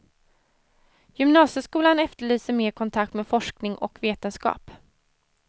Gymnasieskolan efterlyser mer kontakt med forskning och vetenskap.